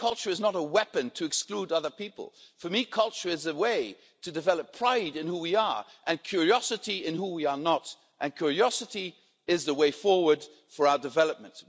For me, culture is not a weapon to exclude other people. For me, culture is the way to develop pride in who we are and curiosity in who we are not, and curiosity is the way forward for our development.